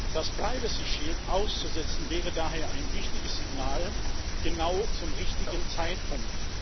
Das Privacy Shield auszusetzen wäre daher ein wichtiges Signal, genau zum richtigen Zeitpunkt.